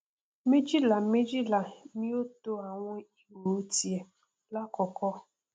méjìláméjìlá ni ó to àwọn ihò tiẹ lákọọkọ